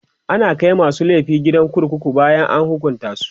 ana Kai masu laifi gidan kurkuku bayan an hukunta su